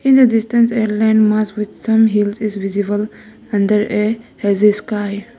in a distance a land mass with some hills is visible under a hazy sky.